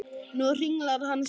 Nú hringlar hann stakur í tómi.